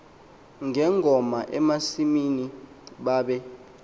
ngengoma emasimini babe